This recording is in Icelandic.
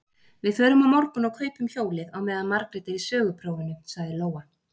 Við förum á morgun og kaupum hjólið, á meðan Margrét er í söguprófinu, sagði Lóa.